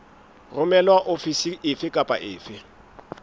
romelwa ofising efe kapa efe